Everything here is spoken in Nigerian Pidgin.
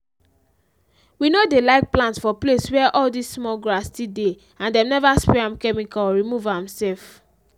we no dey like plant for place where all this small grass still dey and dem never spray am chemical or remove am sef.